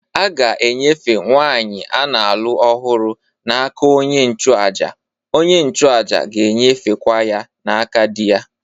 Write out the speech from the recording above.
A ga-enyefe nwanyị a na-alụ ọhụrụ n'aka onye nchụàjà, onye nchụàjà ga-enyefekwa ya n'aka di ya